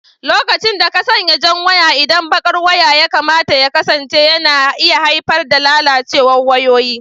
lokacin da ka sanya jan waya inda baƙar waya ya kamata ya kasance yana iya haifar da lalacewa ga wayoyi.